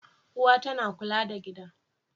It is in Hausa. Uwa tana kula da gida.